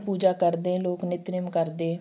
ਪੂਜਾ ਕਰਦੇ ਲੋਕ ਨਿੱਤ ਨੇਮ ਕਰਦੇ